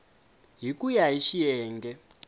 hi ku ya hi xiyenge